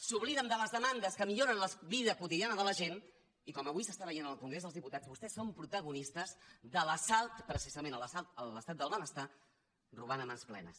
s’obliden de les demandes que milloren la vida quotidiana de la gent i com avui s’està veient en el congrés del diputats vostès són protagonistes de l’assalt precisament l’assalt a l’estat del benestar robant a mans plenes